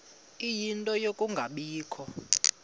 ie nto yokungabikho